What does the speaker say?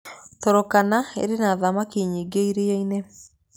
Turkana ĩrĩ na thamaki nyingĩ iria-inĩ.